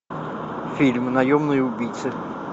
фильм наемные убийцы